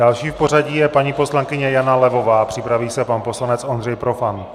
Další v pořadí je paní poslankyně Jana Levová a připraví se pan poslanec Ondřej Profant.